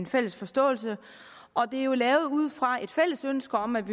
fælles forståelse og det er jo lavet ud fra et fælles ønske om at